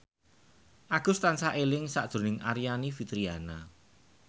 Agus tansah eling sakjroning Aryani Fitriana